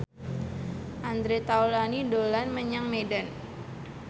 Andre Taulany dolan menyang Medan